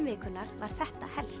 vikunnar var þetta helst